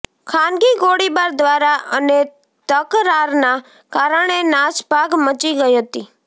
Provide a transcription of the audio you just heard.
ખાનગી ગોળીબાર દ્વારા અને તકરારના કારણે નાસભાગ મચી ગઇ હતી